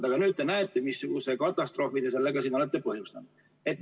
Aga nüüd te näete, missuguse katastroofi te olete põhjustanud.